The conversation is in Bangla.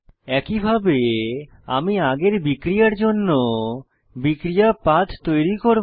একইভাবে আমি আগের বিক্রিয়ার জন্য বিক্রিয়া পাথ তৈরী করব